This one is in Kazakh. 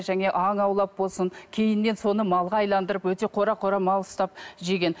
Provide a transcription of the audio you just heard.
аң аулап болсын кейіннен соны малға айналдырып өте қора қора мал ұстап жеген